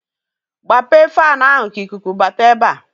Gbape fanụ ahụ ka ikuku bata ebe a!